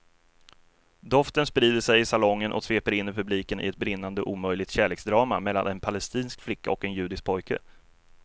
Doften sprider sig i salongen och sveper in publiken i ett brinnande omöjligt kärleksdrama mellan en palestinsk flicka och en judisk pojke.